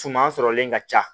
Suman sɔrɔlen ka ca